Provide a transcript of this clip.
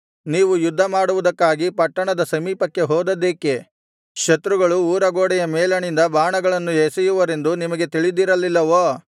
ನೀವು ಯುದ್ಧ ಮಾಡುವುದಕ್ಕಾಗಿ ಪಟ್ಟಣದ ಸಮೀಪಕ್ಕೆ ಹೋದದ್ದೇಕೆ ಶತ್ರುಗಳು ಊರಗೋಡೆಯ ಮೇಲಣಿಂದ ಬಾಣಗಳನ್ನು ಎಸೆಯುವರೆಂದು ನಿಮಗೆ ತಿಳಿದಿರಲಿಲ್ಲವೋ